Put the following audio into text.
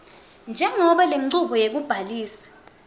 njengobe lenchubo yekubhalisa